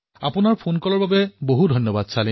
আপোনাৰ ফোনকলৰ বাবে বহুত বহুত ধন্যবাদ